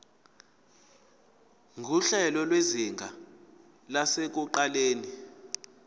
nguhlelo lwezinga lasekuqaleni